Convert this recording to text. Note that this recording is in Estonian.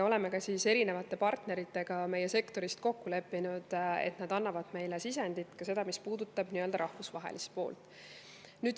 Oleme ka erinevate partneritega meie sektorist kokku leppinud, et nad annavad meile sisendit, ka sellist, mis puudutab rahvusvahelist poolt.